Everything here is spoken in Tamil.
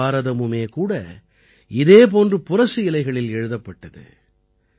மகாபாரதமுமே கூட இதே போன்று புரசு இலைகளில் எழுதப்பட்டது